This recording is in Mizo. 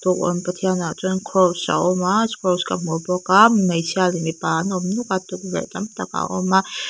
an pathianah chuan kraws a awm a kraws ka hmu bawk a hmeichhia leh mipa an awm nuk a tukverh tam tak a awm bawk a.